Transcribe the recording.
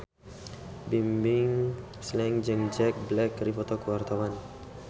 Bimbim Slank jeung Jack Black keur dipoto ku wartawan